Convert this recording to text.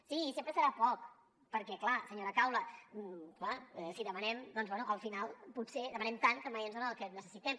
sí sempre serà poc perquè clar senyora caula si demanem doncs bé al final potser demanem tant que mai ens donen el que necessitem